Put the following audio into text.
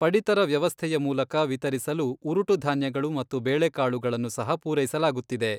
ಪಡಿತರ ವ್ಯವಸ್ಥೆಯ ಮೂಲಕ ವಿತರಿಸಲು ಉರುಟುಧಾನ್ಯಗಳು ಮತ್ತು ಬೇಳೆಕಾಳುಗಳನ್ನು ಸಹ ಪೂರೈಸಲಾಗುತ್ತಿದೆ.